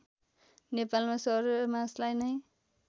नेपालमा सौर्यमासलाई नै